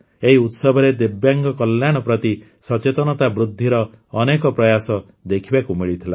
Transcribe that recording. ଏହି ଉତ୍ସବରେ ଦିବ୍ୟାଙ୍ଗ କଲ୍ୟାଣ ପ୍ରତି ସଚେତନତା ବୃଦ୍ଧିର ଅନେକ ପ୍ରୟାସ ଦେଖିବାକୁ ମିଳିଥିଲା